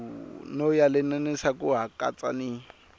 no yelanisa ku katsa ni